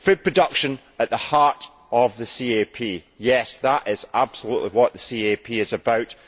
Food production at the heart of the CAP yes, that is absolutely what the CAP is about.